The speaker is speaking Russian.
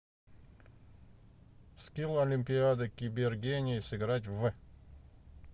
скилл олимпиада кибергений сыграть в